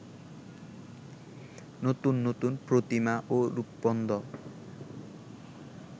নতুন নতুন প্রতিমা ও রূপবন্ধ